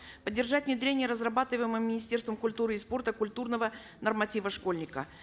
поддержать внедрение разрабатываемого министерством культуры и спорта культурного норматива школьника